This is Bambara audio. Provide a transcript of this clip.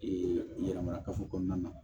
yɛrɛmara kafo kɔnɔna na